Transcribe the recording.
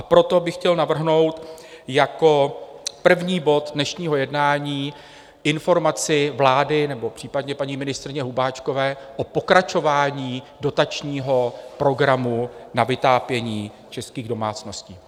A proto bych chtěl navrhnout jako první bod dnešního jednání Informaci vlády nebo případně paní ministryně Hubáčkové o pokračování dotačního programu na vytápění českých domácností.